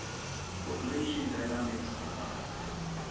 population dynamics defined